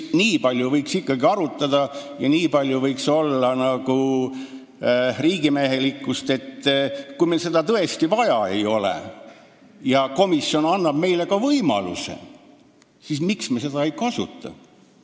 Nii palju võiks ikkagi arutada ja olla riigimehelikkust, et kui meil seda tõesti vaja ei ole ja komisjon annab meile võimaluse, siis me seda ka kasutame.